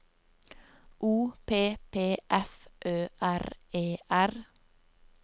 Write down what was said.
O P P F Ø R E R